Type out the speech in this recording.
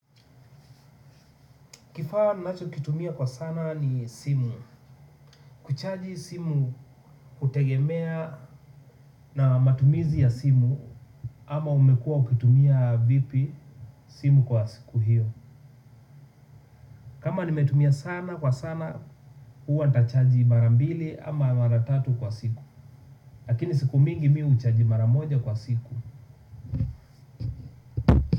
Kifaa ninacho kitumia kwa sana ni simu. Kuchaji simu hutegemea na matumizi ya simu ama umekua ukitumia vipi simu kwa siku hiyo. Kama nimetumia sana kwa sana hua tachaji mara mbili ama mara tatu kwa siku. Lakini siku mingi mimi huchaji mara moja kwa siku.